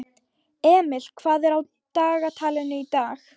Emil, hvað er á dagatalinu í dag?